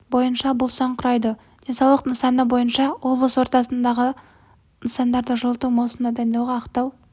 бойынша бұл сан құрайды денсаулық сақтау нысаны бойынша облыс орталығындағы нысандарды жылыту маусымына дайындауға ақтау